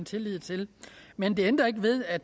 lid til men det ændrer ikke ved at